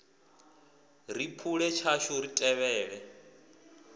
ri phule tshashu ri tevhele